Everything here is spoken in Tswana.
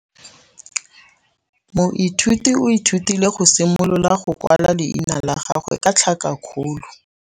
Moithuti o ithutile go simolola go kwala leina la gagwe ka tlhakakgolo.